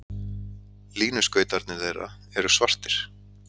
Línuskautarnir þeirra eru svartir.